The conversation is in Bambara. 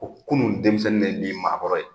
Kunun denmisɛnnin de ye bi maakɔrɔ ye.